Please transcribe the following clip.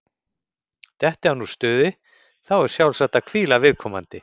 Detti hann úr stuði, þá er sjálfsagt að hvíla viðkomandi.